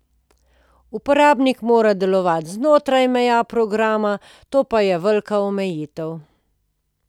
Uporabnik mora delovati znotraj meja programa, to pa je velika omejitev.